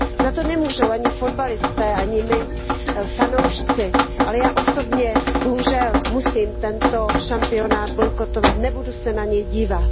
Za to nemůžou ani fotbalisté, ani my fanoušci, ale já osobně bohužel musím tento šampionát bojkotovat, nebudu se na něj dívat.